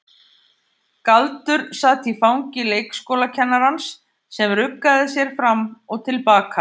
Galdur sat í fangi leikskólakennarans sem ruggaði sér fram og til baka.